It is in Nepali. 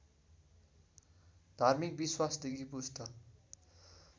धार्मिक विश्वासदेखि पुष्ट